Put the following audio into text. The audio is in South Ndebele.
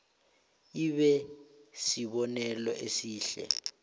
ibe sibonelo esihle